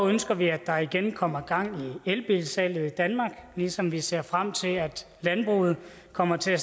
ønsker vi at der igen kommer gang i elbilsalget i danmark ligesom vi ser frem til at landbruget kommer til at